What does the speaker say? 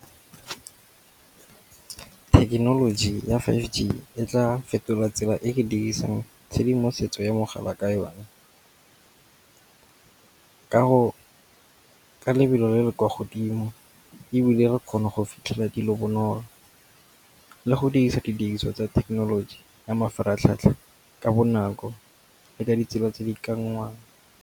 Thekenoloji ya five G e tla fetola tsela e re dirisang tshedimosetso ya mogala ka yone. Ka lebelo le le kwa godimo ebile re kgona go fitlhella dilo bonolo le go dirisa ditiriso tsa thekenoloji ya mafaratlhatlha ka bonako le ka ditsela tse dikanngwang.